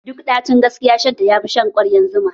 Duk ɗacin gaskiya shan ta yafi shan kwaryar zuma?